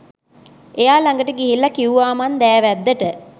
එයා ළඟට ගිහිල්ලා කිව්වා මං දෑවැද්දට